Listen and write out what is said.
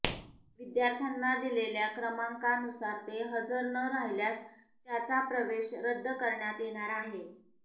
विद्यार्थ्यांना दिलेल्या क्रमांकानुसार ते हजर न राहिल्यास त्याचा प्रवेश रद्द करण्यात येणार आहे